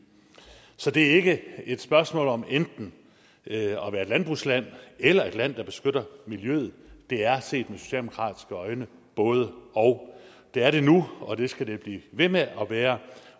så det er ikke et spørgsmål om enten at være et landbrugsland eller et land der beskytter miljøet det er set med socialdemokratiske øjne både og det er det nu og det skal det blive ved med at være